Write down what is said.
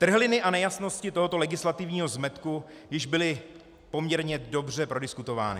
Trhliny a nejasnosti tohoto legislativního zmetku již byly poměrně dobře prodiskutovány.